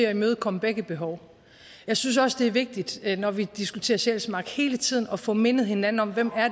at imødekomme begge behov jeg synes også det er vigtigt når vi diskuterer sjælsmark hele tiden at få mindet hinanden om hvem